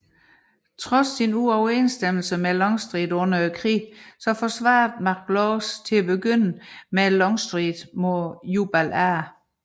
Trods sine uoverensstemmelser med Longstreet under krigen forsvarede McLaws til at begynde med Longstreet mod Jubal A